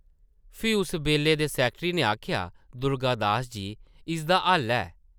फ्ही उस बेल्ले दे सैकटरी नै आखेआ, दुर्गा दास जी, इसदा हल्ल है ।